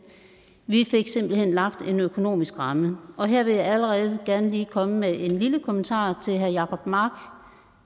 vi fik simpelt hen lagt en økonomisk ramme og her vil jeg allerede gerne lige komme med en lille kommentar til herre jacob mark